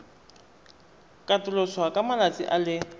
katoloswa ka malatsi a le